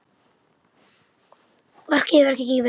Verkið hefur gengið vel.